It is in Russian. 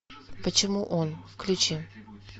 почему он включи